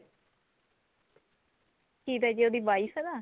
ਕਿਹਦਾ ਜੀ ਉਹਦੀ wife ਦਾ